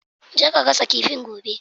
Je ka gasa kifin gobe!